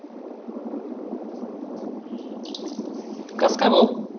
कसं काय भाऊ